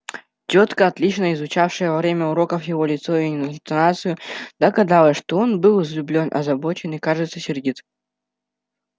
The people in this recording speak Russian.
тётка отлично изучавшая во время уроков его лицо и интонацию догадалась что он был взлюблён озабочен и кажется сердит